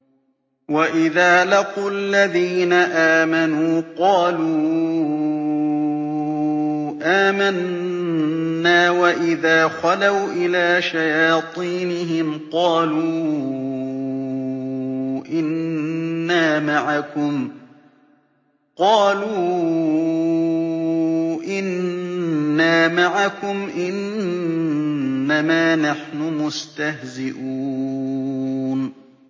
وَإِذَا لَقُوا الَّذِينَ آمَنُوا قَالُوا آمَنَّا وَإِذَا خَلَوْا إِلَىٰ شَيَاطِينِهِمْ قَالُوا إِنَّا مَعَكُمْ إِنَّمَا نَحْنُ مُسْتَهْزِئُونَ